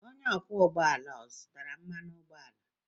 Onye ọkwọ ụgbọ ala o zụtara mmanụ ụgbọala?